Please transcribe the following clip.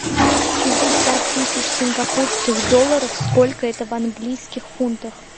шестьдесят тысяч сингапурских долларов сколько это в английских фунтах